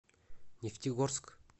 нефтегорск